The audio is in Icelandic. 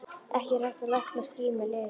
Ekki er hægt að lækna ský með lyfjum.